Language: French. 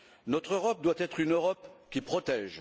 Notre Europe doit être une Europe qui protège.